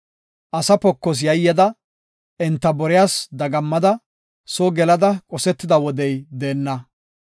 Asa pokos yayyada, enta boriyas dagammada, soo gelada qosetida wodey deenna.